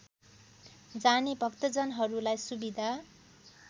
जाने भक्तजनहरूलाई सुविधा